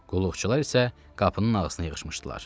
Qulluqçular isə qapının ağzına yığışmışdılar.